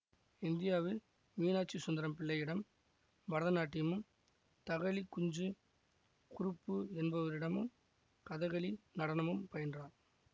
இந்தியாவில் மீனாட்சி சுந்தரம் பிள்ளையிடம் பரதநாட்டியமும் தகழி குஞ்சு குருப்பு என்பவரிடமும் கதகளி நடனமும் பயின்றார்